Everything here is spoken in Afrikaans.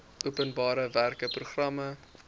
openbare werke programme